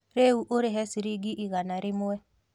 Rĩu ũrĩha ciringi igana rĩmwe